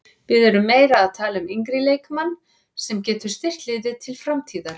Við erum meira að tala um yngri leikmann sem getur styrkt liðið til framtíðar.